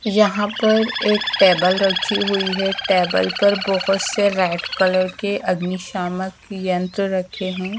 यहाँ पर एक टेबल रखी हुई है टेबल पर बहोत से रेड कलर के अग्नि शामक यंत्र रखे हैं।